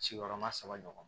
Sigiyɔrɔma saba ɲɔgɔn